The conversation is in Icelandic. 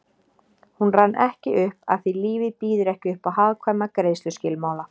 Hún rann ekki upp afþví lífið býður ekki uppá hagkvæma greiðsluskilmála